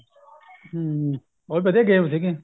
ਹਮ ਬਹੁਤ ਵਧੀਆ game ਸੀਗੀ